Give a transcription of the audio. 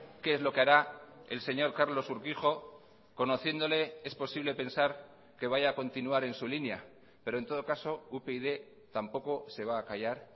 qué es lo que hará el señor carlos urquijo conociéndole es posible pensar que vaya a continuar en su línea pero en todo caso upyd tampoco se va a callar